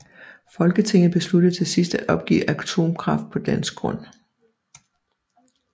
Folketinget besluttede til sidst at opgive atomkraft på dansk grund